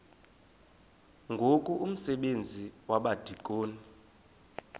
ngoku umsebenzi wabadikoni